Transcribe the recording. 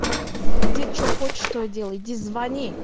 иди что хочешь то и делай иди звони